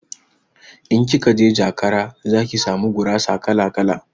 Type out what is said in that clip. In kikaje jakara zaki samu gurasa kala-kala